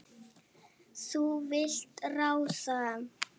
Þú vilt ráða.